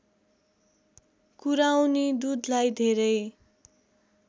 कुराउनी दूधलाई धेरै